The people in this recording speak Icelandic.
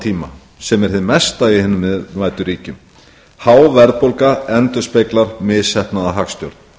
tíma sem er hið mesta í hinum iðnvæddu ríkjum há verðbólga endurspeglar misheppnaða hagstjórn